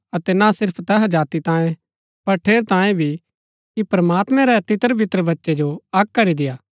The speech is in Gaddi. अतै ना सिर्फ तैहा जाति तांयें पर ठेरैतांये भी कि प्रमात्मैं री तितर बितर बच्चै जो अक्क करी देय्आ